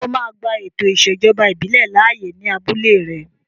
Ṣé o máa gba ètò ìṣèjọba ìbílẹ̀ láàyè ní abúlé rẹ?